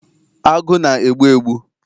Agụ na-egbu egbu